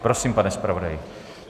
Prosím, pane zpravodaji.